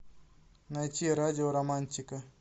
найти радио романтика